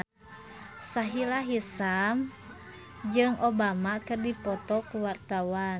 Sahila Hisyam jeung Obama keur dipoto ku wartawan